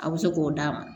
A bɛ se k'o d'a ma